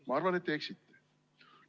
Ma arvan, et te eksite.